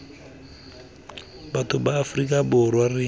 batho ba aforika borwa re